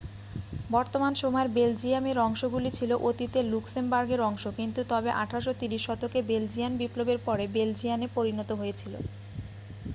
বর্তমান সময়ের বেলজিয়াম এর অংশগুলি ছিল অতীতের লুক্সেমবার্গের অংশ কিন্তু তবে 1830 শতকে বেলজিয়ান বিপ্লবের পরে বেলজিয়ানে পরিণত হয়েছিল